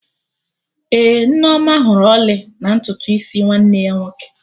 Ee, Nneoma hụrụ ọlị na ntutu isi nwanne ya nwoke